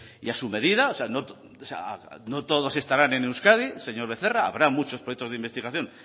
y a su medida no todos estarán en euskadi señor becerra habrá muchos proyectos de investigación